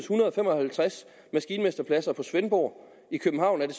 hundrede og fem og halvtreds maskinmesterpladser i svendborg i københavn er det